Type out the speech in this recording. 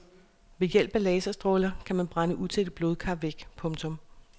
Ved hjælp af laserstråler kan man brænde utætte blodkar væk. punktum